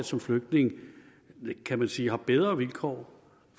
som flygtning kan vi sige fortsat har bedre vilkår